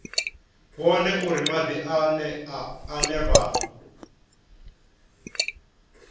vhone uri madi ane vha